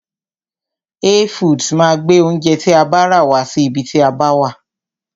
Hey foods máa gbé oúnjẹ tí a bá rà wá sí ibi tí a bá wà.